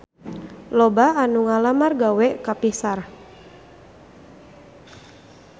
Loba anu ngalamar gawe ka Pixar